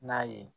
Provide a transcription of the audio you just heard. N'a ye